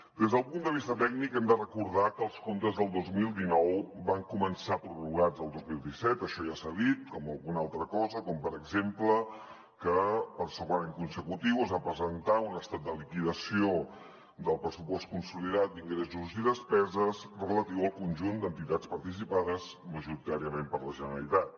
des del punt de vista tècnic hem de recordar que els comptes del dos mil dinou van començar prorrogats el dos mil disset això ja s’ha dit com alguna altra cosa com per exemple que per segon any consecutiu es va presentar un estat de liquidació del pressupost consolidat d’ingressos i despeses relatiu al conjunt d’entitats participades majoritàriament per la generalitat